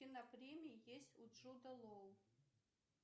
кинопремии есть у джота лоу